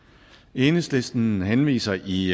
enhedslisten henviser i